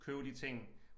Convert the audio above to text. Købe de ting